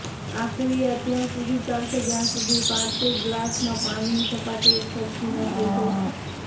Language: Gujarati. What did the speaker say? આ ક્રિયા ત્યાં સુધી ચાલશે જ્યાં સુધી પાંચેય ગ્લાસમાં પાણીની સપાટી એકસરખી ન થઈ જાય